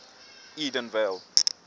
edenvale